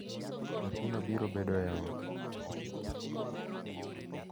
Nyathino biro bedo e ot.